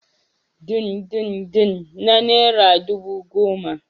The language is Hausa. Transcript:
Dindindin na naira dubu goma